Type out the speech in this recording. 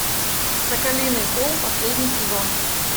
соколиный холм последний сезон